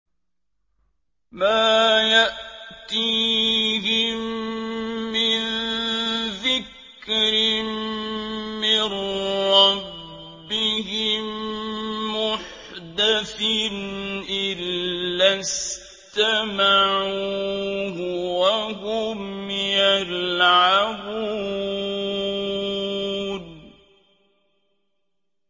مَا يَأْتِيهِم مِّن ذِكْرٍ مِّن رَّبِّهِم مُّحْدَثٍ إِلَّا اسْتَمَعُوهُ وَهُمْ يَلْعَبُونَ